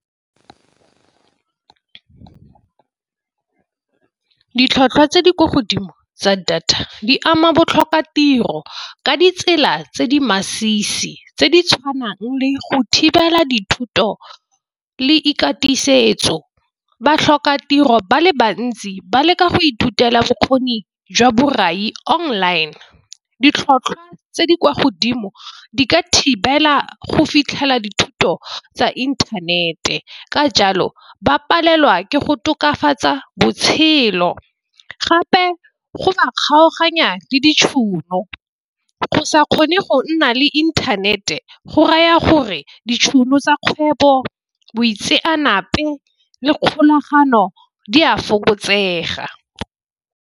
Ditlhotlhwa tse di kwa godimo tsa data di ama batlhoka tiro ka ditsela tse di masisi. Tse di tshwanang le go thibela dithuto le ikatisa setso, batlhoka tiro ba le bantsi ba leka go ithutela bokgoni jwa borai online. Ditlhotlhwa tse di kwa godimo di ka thibela go fitlhela dithuto tsa inthanete, ka jalo ba palelwa ke go tokafatsa botshelo, gape go ba kgaoganya le ditšhono. Go sa kgone go nna le inthanete go raya gore ditšhono tsa kgwebo, boitseanape le kgolagano di a fokotsega.